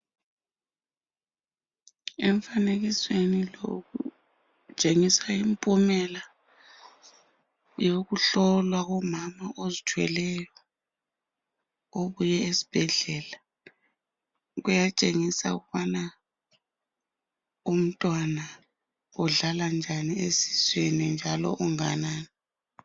Emfanekisweni kutshengisa impumela yokuhlola umama ozithweleyo okwesibhedlela kuyatshengisa ukubana Umntwana udlala njani esiswini njalo unganani.